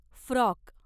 frock